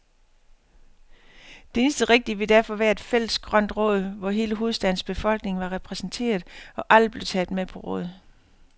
Det eneste rigtige ville derfor være et fælles grønt råd, hvor hele hovedstadens befolkning var repræsenteret, og alle blev taget med på råd.